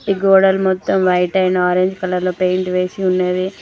గోడలు మొత్తం వైట్ అయిన ఆరంజ్ కలర్ లో పెయింట్ వేసి ఉన్నవి.